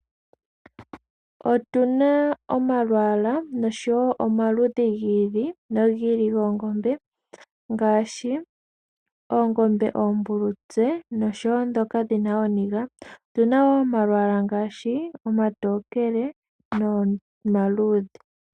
Otuna omalwaala noshowo omaludhi gi ili nogi ili ngaashi oongombe oombulutse noshowo ndhoka dhina ooniga . Otuna woo omalwaala ngaashi omatokele nomaluudhe.